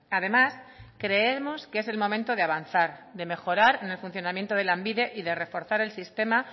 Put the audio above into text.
además creemos que es el momento de avanzar de mejorar en el funcionamiento de lanbide y de reforzar el sistema